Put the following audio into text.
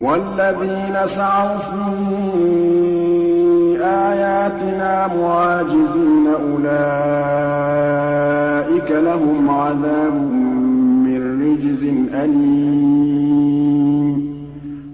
وَالَّذِينَ سَعَوْا فِي آيَاتِنَا مُعَاجِزِينَ أُولَٰئِكَ لَهُمْ عَذَابٌ مِّن رِّجْزٍ أَلِيمٌ